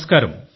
నమస్కారం